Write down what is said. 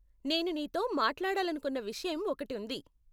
నేను నీతో మాట్లాడాలనుకున్న విషయం ఒకటి ఉంది.